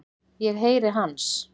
Ég heyri hans.